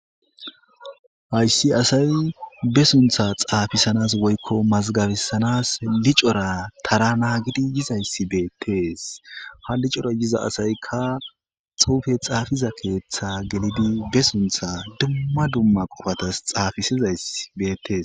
Hayssi asay be suntha xaafisanas woykko mazgabisanas licora tara naagidi yizayssi beettees ha licora yiza asaykka xuufe xaafiza keeththa gelidi be suntha dumma dumma qofatas xaafisizay beettees.